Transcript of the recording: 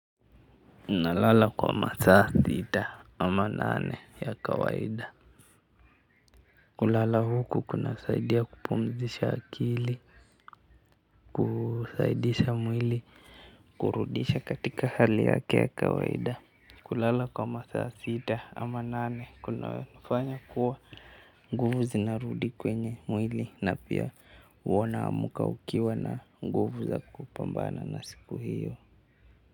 Nalala kwa masaa sita ama nane ya kawaida. Kulala huku kuna saidia kupumzisha akili. Kusaidisha mwili kurudisha katika hali yake ya kawaida kulala kwa masaa sita ama nane kuna fanya kuwa nguvu zinarudi kwenye mwili na pia huwa na amka ukiwa na nguvu za kupambana na siku hiyo.